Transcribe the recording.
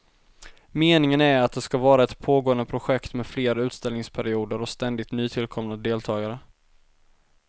Meningen är att det ska vara ett pågående projekt med fler utställningsperioder och ständigt nytillkomna deltagare.